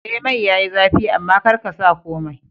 Eh mai yayi zafi amma karka sa komai